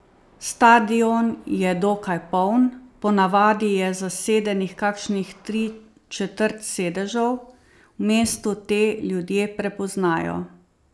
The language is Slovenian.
Stadion je dokaj poln, po navadi je zasedenih kakšnih tri četrt sedežev, v mestu te ljudje prepoznajo.